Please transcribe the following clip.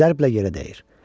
Zərblə yerə dəyir.